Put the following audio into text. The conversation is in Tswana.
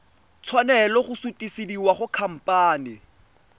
tshwanela go sutisediwa go khamphane